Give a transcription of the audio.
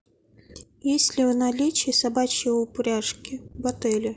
есть ли в наличии собачьи упряжки в отеле